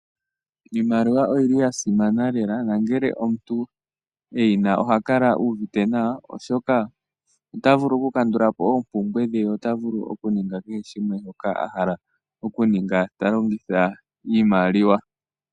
Iimaliwa oyi li ya simana lela nongele omuntu eyi na oha kala a uuvite nawa, oshoka ota vulu oku kandula po oompumbwe dhe, ye ota vulu oku ninga kehe shimwe shoka a hala oku ninga ta longitha iimaliwa.